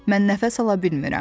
Mən nəfəs ala bilmirəm.